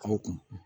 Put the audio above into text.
Aw kun